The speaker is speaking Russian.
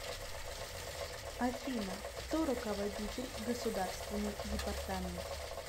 афина кто руководитель государственный департамент